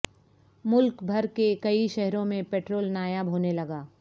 ملک بھر کے کئی شہروں میں پٹرول نایاب ہونے لگا